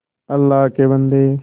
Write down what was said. अल्लाह के बन्दे